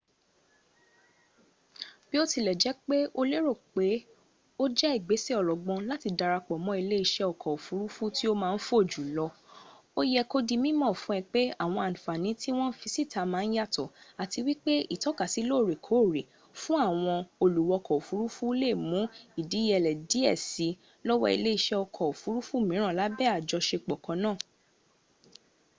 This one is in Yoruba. bótilèjépé o lè lérò pé o jé ìgbésè ọlọgbọ́n láti darapò mọ ilé-isé ọkọ̀ òfuruufú tí o máà n fò júlọ o yé kó di mímọ̀ fún ẹ pẹ àwọn ànfànà tí wọn fi síta máà n yàtọ̀ àti wípé ìtọ̀kasì lóórèkóóre fún àwọn òluwọkọ̀ òfuruufú le mú ìdíyẹlẹ dìé si lọ́wọ́ ilè-isè ọkọ òfuruufú míràn lábé àjọsẹpọ̀ kanna